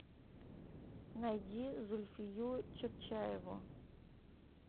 найди зульфию чотчаеву